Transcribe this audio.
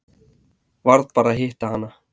Varð bara að hitta hana.